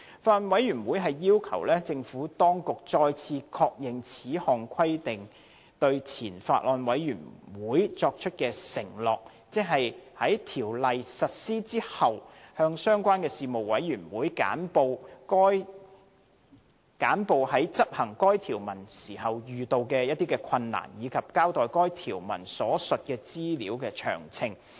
法案委員會要求政府當局，再次確認就此項規定對前法案委員會作出的承諾，即在《條例》實施後，向相關事務委員會簡報在執行該條文時遇到的困難，以及交代該條文所提述的資料的詳情。